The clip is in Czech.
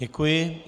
Děkuji.